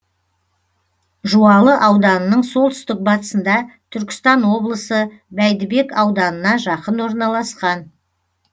жуалы ауданының солтүстік батысында түркістан облысы бәйдібек ауданына жақын орналасқан